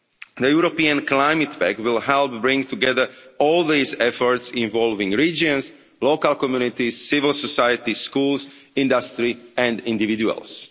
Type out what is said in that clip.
The European Climate Bank will help bring together all these efforts, involving regions, local communities, civil societies, schools, industry and individuals.